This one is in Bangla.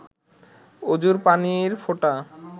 অজুর পানির ফোঁটা